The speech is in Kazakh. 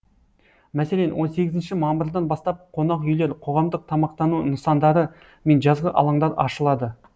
мәселен он сегізінші мамырдан бастап қонақ үйлер қоғамдық тамақтану нысандары мен жазғы алаңдар ашылады